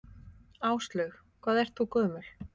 Áslaug: Hvað ert þú gömul?